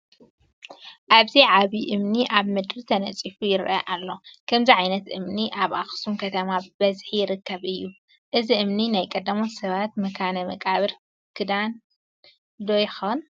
ኣብዚ ዓብዪ እምኒ ኣብ ምድሪ ተነፂፉ ይርአ ኣሎ፡፡ ከምዚ ዓይነት እምኒ ኣብ ኣኽሱም ከተማ ብብዝሒ ይርከብ እዩ፡፡ እዚ እምኒ ናይ ቀዳሞት ሰባት መካነ መቃብር ክዳን ዶ ይኾን?